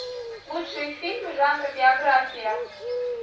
лучшие фильмы жанра биография